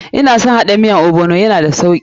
Ina son haɗa miyan ogbono, ya na da sauki.